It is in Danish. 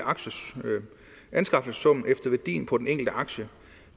anskaffelsessummen efter værdien på den enkelte aktie